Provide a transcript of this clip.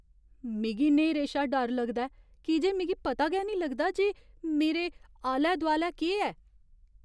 मिगी न्हेरे शा डर लगदा ऐ की जे मिगी पता गै निं लगदा जे मेरे आलै दुआलै केह् ऐ ।